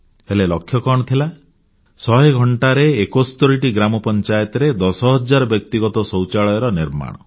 ହେଲେ ଲକ୍ଷ୍ୟ କଣ ଥିଲା ଶହେ ଘଣ୍ଟାରେ 71ଟି ଗ୍ରାମ ପଞ୍ଚାୟତରେ ଦଶ ହଜାର ବ୍ୟକ୍ତିଗତ ଶୌଚାଳୟର ନିର୍ମାଣ